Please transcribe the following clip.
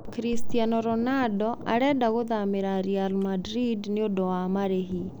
Christiano Ronaldo 'arenda gũthamira' Real Madrid niundũ wa marihi.